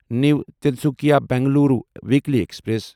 new Tinsukia Bengaluru weekly express